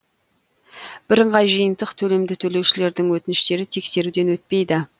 бірыңғай жиынтық төлемді төлеушілердің өтініштері тексеруден өтпейді